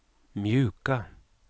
mjuka